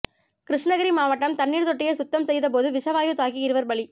கிருஷ்ணகிரி மாவட்டம் தண்ணீர் தொட்டியை சுத்தம் செய்தபோது விஷவாயு தாக்கி இருவர் பலி